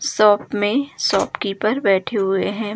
Shop में shopkeeper बैठे हुए हैं।